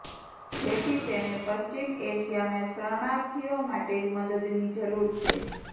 જેથી તેને પશ્ચિમ એશિયાના શરણાર્થીઓ માટે મદદની જરૂર છે